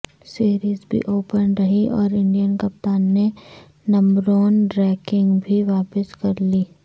series بھی open رہی اور انڈین کپتان نے نمبرون رینکنگ بھی واپس حاصل کر لی